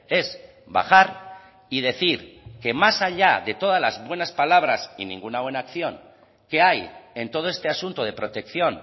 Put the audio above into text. es bajar y decir que más allá de todas las buenas palabras y ninguna buena acción que hay en todo este asunto de protección